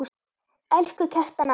Elsku Kjartan afi.